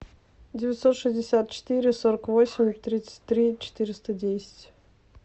девятьсот шестьдесят четыре сорок восемь тридцать три четыреста десять